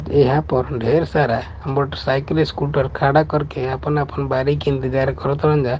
यहाँ पर ढेर सारा मोटरसाइकिल स्कूटर खड़ा करके आपन आपन बारी के इंतज़ार कर तन जा--